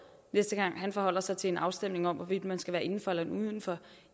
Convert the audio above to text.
næste gang han forholder sig til en afstemning om hvorvidt man skal være inden for eller uden for